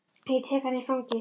Og ég tek hana í fangið.